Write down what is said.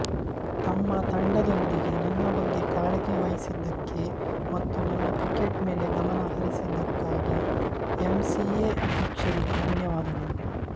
ತಮ್ಮ ತಂಡದೊಂದಿಗೆ ನನ್ನ ಬಗ್ಗೆ ಕಾಳಜಿ ವಹಿಸಿದ್ದಕ್ಕೆ ಮತ್ತು ನನ್ನ ಕ್ರಿಕೇಟ್ ಮೇಲೆ ಗಮನ ಹರಿಸಿದ್ದಕ್ಕಾಗಿ ಎಂಸಿಎ ಅಧ್ಯಕ್ಷರಿಗೆ ಧನ್ಯವಾದಗಳು